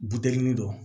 Buteli dɔ